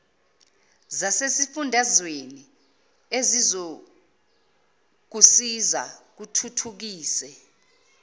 zasesifundazweni ezizokusiza zithuthukise